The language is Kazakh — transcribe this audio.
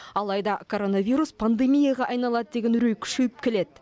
алайда коронавирус пандемияға айналады деген үрей күшейіп келеді